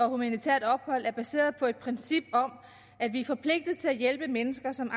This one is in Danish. humanitært ophold er baseret på et princip om at vi er forpligtet til at hjælpe mennesker som